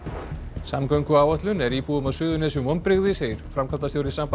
samgönguáætlun er íbúum á Suðurnesjum vonbrigði segir framkvæmdastjóri Sambands